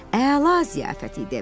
Əla ziyafət idi.